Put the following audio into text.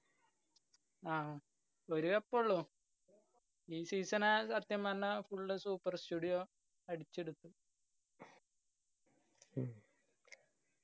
ആ ഒരു cup ഉള്ളൂ. ഈ season സത്യം പറഞ്ഞ full super studio അടിച്ചെടുത്ത്‌